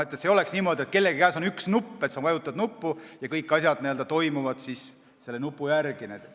Ei ole niimoodi, et kellegi käes on üks nupp, ta vajutab seda ja kõik asjad toimuvad selle järgi.